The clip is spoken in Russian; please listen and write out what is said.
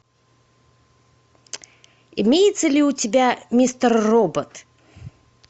имеется ли у тебя мистер робот